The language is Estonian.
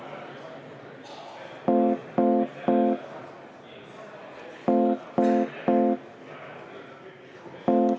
Head kolleegid, tänane istung on lõppenud.